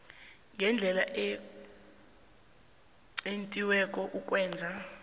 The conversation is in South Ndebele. ngendlela equntiweko ukwenza